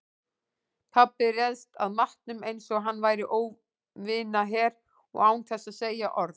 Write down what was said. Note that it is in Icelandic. Pabbi réðst að matnum einsog hann væri óvinaher og án þess að segja orð.